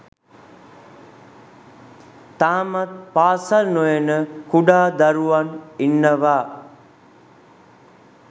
තාමත් පාසල් නොයන කුඩා දරුවන් ඉන්නවා.